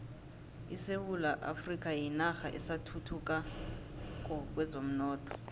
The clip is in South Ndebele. isewula afrika yinarha esathuthukako kwezomnotho